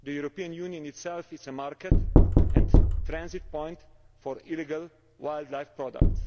The European Union itself is a market and a transit point for illegal wildlife products.